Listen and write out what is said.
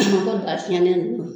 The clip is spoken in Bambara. Ko daa fiɲɛnen nunnu